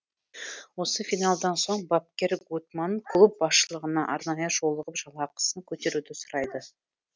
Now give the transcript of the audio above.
осы финалдан соң бапкер гуттманн клуб басшылығына арнайы жолығып жалақысын көтеруді сұрайды